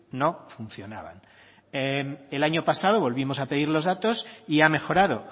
no funcionaban el año pasado volvimos a pedir los datos y ha mejorado